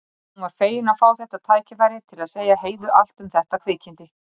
Hún var fegin að fá þetta tækifæri til að segja Heiðu allt um þetta kvikindi.